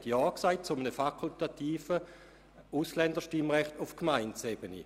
Man hat damit Ja gesagt zu einem fakultativen Ausländerstimmrecht auf Gemeindeebene.